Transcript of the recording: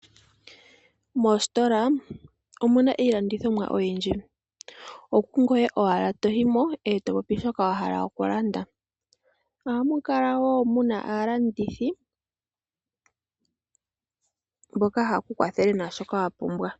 Mositola omuna iilandithomwa oyindji okungoye owala toyimo ngoye topopi shoka wahala okulanda. Ohamu kala woo muna aalandithi mboka haye kukwathele naashoka wapumbwa.